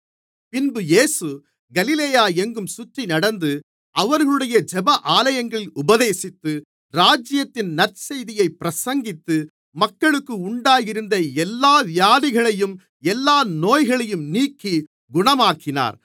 பின்பு இயேசு கலிலேயா எங்கும் சுற்றி நடந்து அவர்களுடைய ஜெப ஆலயங்களில் உபதேசித்து ராஜ்யத்தின் நற்செய்தியைப் பிரசங்கித்து மக்களுக்கு உண்டாயிருந்த எல்லா வியாதிகளையும் எல்லா நோய்களையும் நீக்கி குணமாக்கினார்